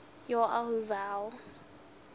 ja a hoeveel